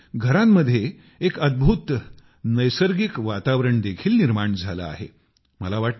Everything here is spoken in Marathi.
यामुळे घरांमध्ये एक अद्भुत नैसर्गिक वातावरण देखील निर्माण झाले आहे